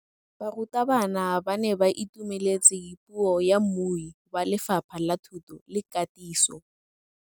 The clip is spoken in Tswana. Barutabana ba ne ba itumeletse puô ya mmui wa Lefapha la Thuto le Katiso.